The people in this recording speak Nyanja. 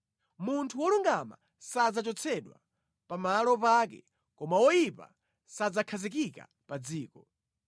Munthu wolungama sadzachotsedwa, pamalo pake koma oyipa sadzakhazikika pa dziko.